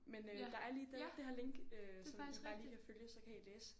Men øh der er lige det det her link øh som I bare lige kan følge så kan I læse